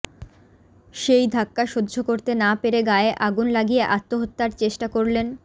সেই ধাক্কা সহ্য করতে না পেরে গায়ে আগুন লাগিয়ে আত্মহত্যার চেষ্টা করলেন